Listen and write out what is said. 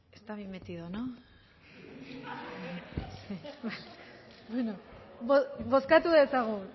está bien metido no sí vale bozkatu dezagun